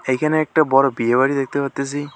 এইখানে একটা বড়ো বিয়ে বাড়ি দেখতে পারতাসি।